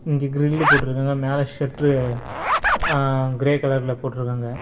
இங்க கிரிலு போட்டுருக்காங்க மேல ஷெட்ரு ஆ கிரே கலர்ல போட்ருக்காங்க.